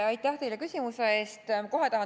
Aitäh teile küsimuse eest!